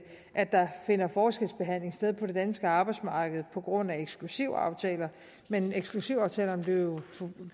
at der finder forskelsbehandling sted på det danske arbejdsmarked på grund af eksklusivaftaler men eksklusivaftalerne blev